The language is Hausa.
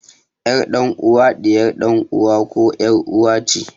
Ƴar dan uwa ɗiyar ɗan uwa koh ƴar uwa ce